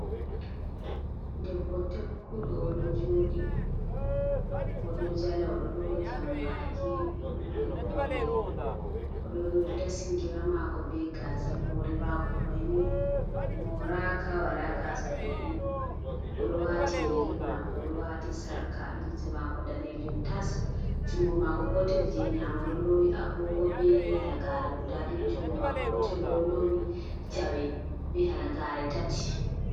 Debbo tekkudɗo o ɗo jooɗi, o ɗo jala, o ɗo loowi jammbaaki o ɗo mari gole, o ɗo dasi Gira maako bee gaazal, Hoore maako mai ni mooraaka, walaa Gaasa ɗuuɗɗum, o ɗo waati Yeri maako, o ɗo waati Sarka, limse maako daneejum tas junngo maako gotel jey nyaamo ɗo loowi Agoogo bee Halagaare gudaa ɗiɗi, junngo maako gootel ɗo loowi jawe be Halagaare tati.